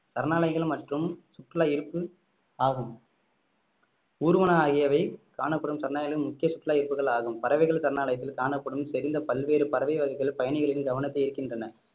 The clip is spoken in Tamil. சரணாலயங்கள் மற்றும் சுற்றுலா ஈர்ப்பு ஆகும் ஊர்வன ஆகியவை காணப்படும் சரணாலயங்கள் முக்கிய சுற்றுலா ஈர்ப்புகள் ஆகும் பறவைகள் சரணாலயத்தில் காணப்படும் செறிந்த பல்வேறு பறவை வகைகள் பயணிகளின் கவனத்தை ஈர்க்கின்றன